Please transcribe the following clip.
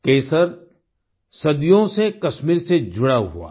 केसर सदियों से कश्मीर से जुड़ा हुआ है